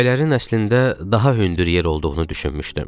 Təpələrin əslində daha hündür yer olduğunu düşünmüşdüm.